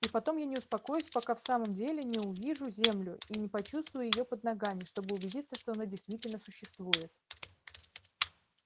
и потом я не успокоюсь пока в самом деле не увижу землю и не почувствую её под ногами чтобы убедиться что она действительно существует